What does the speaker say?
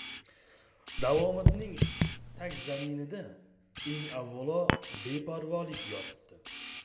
Davomatning tagzaminida, eng avvalo, beparvolik yotibdi.